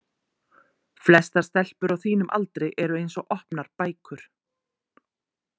Flestar stelpur á þínum aldri eru eins og opnar bækur.